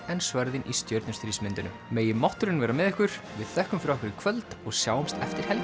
en sverðin í megi mátturinn vera með ykkur við þökkum fyrir okkur í kvöld og sjáumst eftir helgi